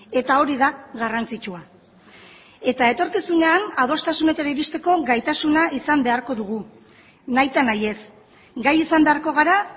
eta hori da garrantzitsua eta etorkizunean adostasunetara iristeko gaitasuna izan beharko dugu nahita nahi ez gai izan beharko gara